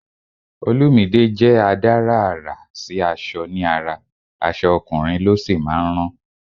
Olumide jẹ́ adárà àrà sí aṣọ ní ara, aṣọ ọkùnrin ló sì máa ń rán